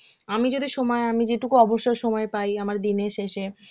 আমি যদি সময় আমি যেটুকু অবসর সময় পাই আমার দিনের শেষে,